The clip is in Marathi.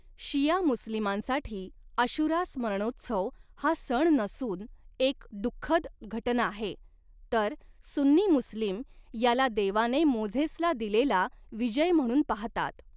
शिया मुस्लिमांसाठी, आशुरा स्मरणोत्सव हा सण नसून एक दुःखद घटना आहे, तर सुन्नी मुस्लिम याला देवाने मोझेसला दिलेला विजय म्हणून पाहतात.